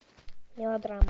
мелодрама